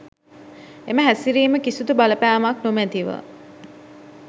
එම හැසිරිම කිසිදු බලපෑමක් නොමැතිව